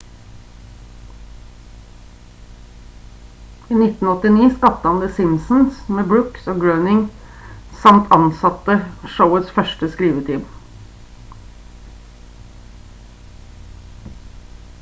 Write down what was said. i 1989 skapte han the simpsons med brooks og groening samt ansatte showets første skriveteam